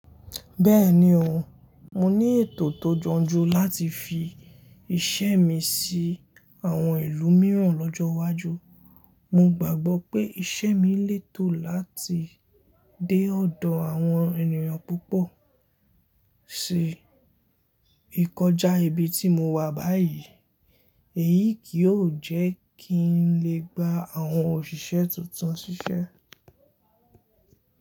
Bẹ́ẹ̀ni o, mo ní ètò tó yanjú láti fi iṣẹ́ mi sí àwọn ìlú mìíràn lọ́jọ́ iwájú. Mo gbàgbọ́ pé iṣẹ́ mi lè tò láti dé ọ̀dọ̀ àwọn ènìyàn púpọ̀ sí ìkọjá ibi tí mo wà báyìí. Èyí kìí yoo jẹ́ kí n lè gba àwọn òṣìṣẹ́ tuntun ṣiṣẹ́